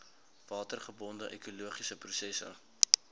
watergebonde ekologiese prosesse